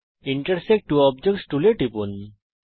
intersect two objects টুলের উপর টিপুন